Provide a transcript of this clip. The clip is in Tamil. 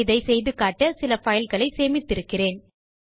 இதை செய்து காட்ட சில fileகளைச் சேமித்திருக்கிறேன்